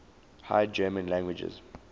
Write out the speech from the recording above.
high german languages